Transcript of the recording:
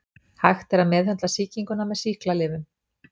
Hægt er að meðhöndla sýkinguna með sýklalyfjum.